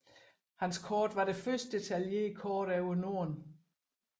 Hans kort var det første detaljerede kort over Norden